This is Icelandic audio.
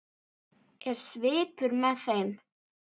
Er svipur með þeim?